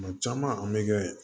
Kuma caman an bɛ kɛ